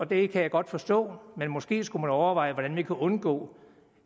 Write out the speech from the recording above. det kan jeg godt forstå men måske skulle man overveje hvordan vi kan undgå